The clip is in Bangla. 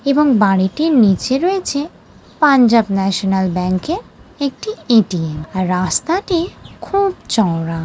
এবং বাড়িটির নিচে রয়েছে পাঞ্জাব ন্যাশনাল ব্যাংকের একটি এ.টি.এম আর রাস্তাটি খুব চওড়া।